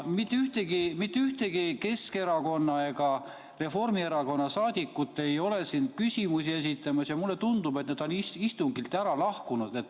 Mitte ühtegi Keskerakonna ega Reformierakonna liiget ei ole siin küsimusi esitamas ja mulle tundub, et nad on istungilt lahkunud.